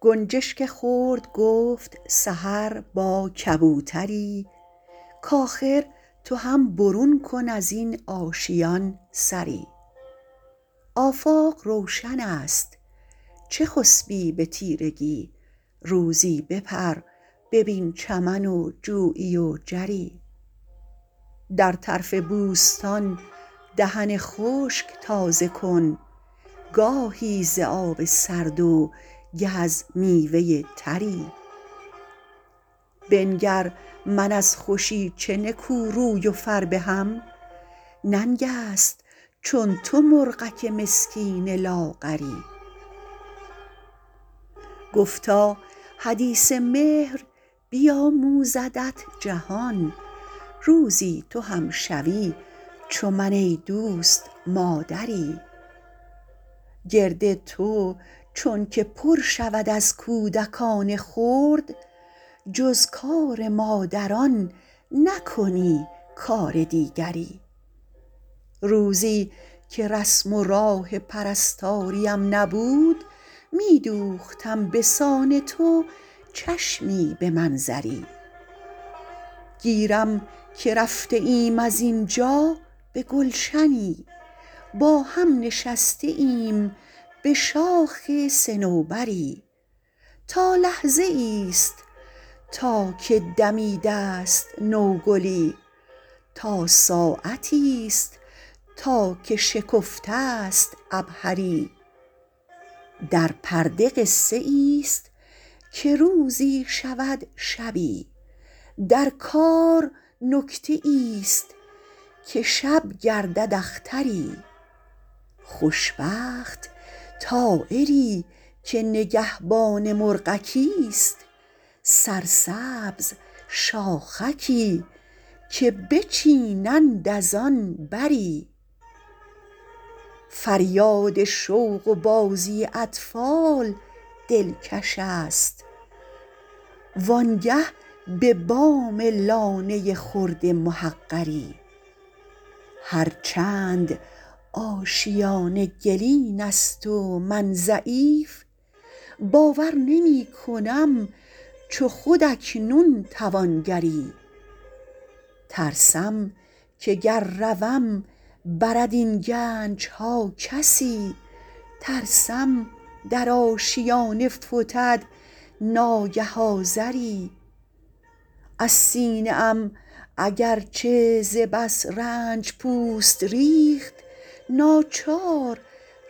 گنجشک خرد گفت سحر با کبوتری کآخر تو هم برون کن ازین آشیان سری آفاق روشن است چه خسبی به تیرگی روزی بپر ببین چمن و جویی و جری در طرف بوستان دهن خشک تازه کن گاهی ز آب سرد و گه از میوه تری بنگر من از خوشی چه نکو روی و فربهم ننگست چون تو مرغک مسکین لاغری گفتا حدیث مهر بیاموزدت جهان روزی تو هم شوی چو من ایدوست مادری گرد تو چون که پر شود از کودکان خرد جز کار مادران نکنی کار دیگری روزیکه رسم و راه پرستاریم نبود میدوختم بسان تو چشمی به منظری گیرم که رفته ایم از اینجا به گلشنی با هم نشسته ایم بشاخ صنوبری تا لحظه ایست تا که دمیدست نوگلی تا ساعتی است تا که شکفته است عبهری در پرده قصه ایست که روزی شود شبی در کار نکته ایست که شب گردد اختری خوشبخت طایری که نگهبان مرغکی است سرسبز شاخکی که بچینند از آن بری فریاد شوق و بازی اطفال دلکش است وانگه به بام لانه خرد محقری هر چند آشیانه گلین است و من ضعیف باور نمیکنم چو خود اکنون توانگری ترسم که گر روم برد این گنجها کسی ترسم در آشیانه فتد ناگه آذری از سینه ام اگرچه ز بس رنج پوست ریخت ناچار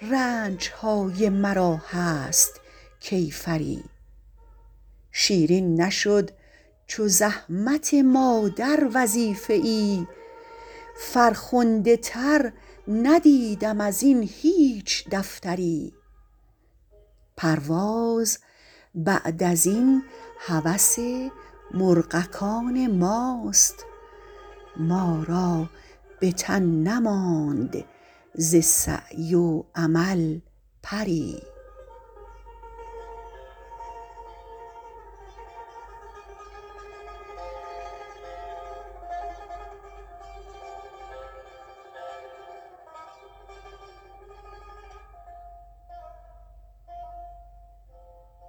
رنجهای مرا هست کیفری شیرین نشد چو زحمت مادر وظیفه ای فرخنده تر ندیدم ازین هیچ دفتری پرواز بعد ازین هوس مرغکان ماست ما را بتن نماند ز سعی و عمل پری